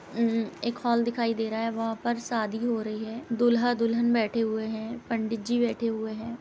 म् एक हॉल दिखाई दे रहा है वहां पर शादी हो रही है। दूल्हा दुल्हन बैठे हुए हैं पंडित जी बैठे हुए हैं।